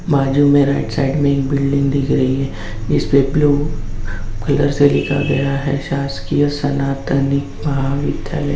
बाजू मे right side मे एक बिल्डिंग दिख रही है जिसमे ब्लू कलर से लिखा गया है शासकीय सनातनी महाविद्यालय।